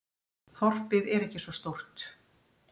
Þorpið er ekki svo stórt.